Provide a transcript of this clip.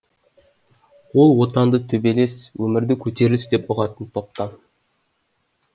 ол отанды төбелес өмірді көтеріліс деп ұғатын топтан